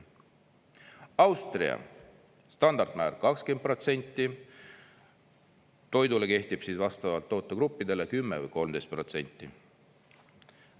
Austria – standardmäär 20%, toidule kehtib vastavalt tootegruppidele 10% või 13%.